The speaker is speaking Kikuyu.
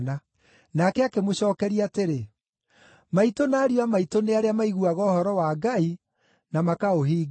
Nake akĩmũcookeria atĩrĩ, “Maitũ na ariũ a maitũ nĩ arĩa maiguaga ũhoro wa Ngai na makaũhingia.”